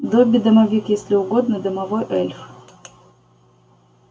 добби-домовик если угодно домовой эльф